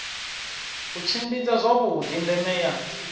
u tshimbidza zwavhuḓi ndeme ya